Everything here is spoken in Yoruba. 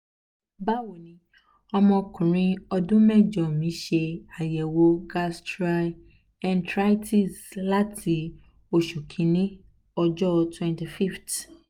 bawoni omo okunrin odun mejo um mi se ayewo gastroenteritis um lati osu kini ojo 25th